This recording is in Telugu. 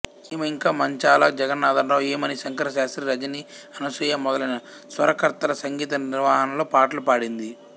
ఈమె ఇంకా మంచాళ జగన్నాథరావు ఈమని శంకరశాస్త్రి రజని అనసూయ మొదలైన స్వరకర్తల సంగీత నిర్వహణలో పాటలు పాడింది